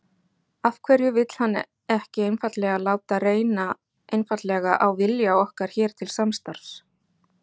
Af hverju vill hann ekki einfaldlega láta reyna einfaldlega á vilja okkar hér til samstarfs?